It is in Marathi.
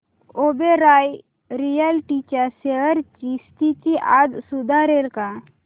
ओबेरॉय रियाल्टी च्या शेअर्स ची स्थिती आज सुधारेल का